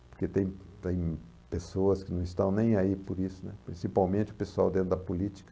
Porque tem tem pessoas que não estão nem aí por isso, né, principalmente o pessoal dentro da política.